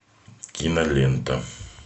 кинолента